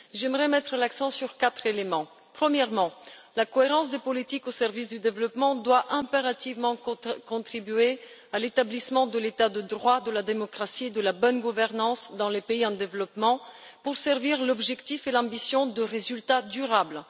J'aimerais mettre l'accent sur quatre éléments. Premièrement, la cohérence des politiques au service du développement doit impérativement contribuer à l'établissement de l'état de droit, de la démocratie et de la bonne gouvernance dans les pays en développement, pour servir l'objectif et l'ambition de résultats durables.